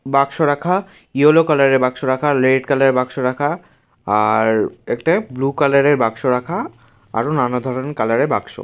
বাক্স রাখা yellow colour এর বাক্স রাখারেড কালার এর বাক্স রাখা আর একটা ব্লু কালার এর বাক্স রাখাআরো নানা ধরনের কালার এর বাক্স ।